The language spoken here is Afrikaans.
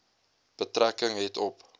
betrekking het op